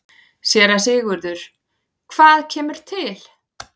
SÉRA SIGURÐUR: Hvað kemur til?